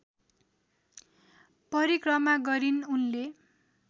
परिक्रमा गरिन् उनले